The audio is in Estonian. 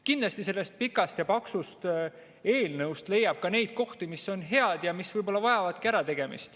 Kindlasti sellest pikast ja paksust eelnõust leiab ka neid kohti, mis on head ja mis võib-olla vajavadki ärategemist.